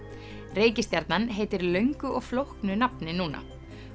reikistjarnan heitir löngu og flóknu nafni núna